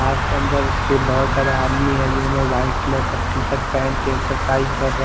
आप के अंदर बहोत सारे आदमी है जिन्होंने वाइट कलर की टी-शर्ट पहन कर एक्सरसाइज कर रहा--